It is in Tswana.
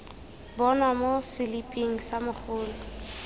bonwa mo seliping sa mogolo